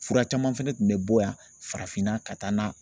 Fura caman fɛnɛ tun bɛ bɔ yan farafinna ka taa na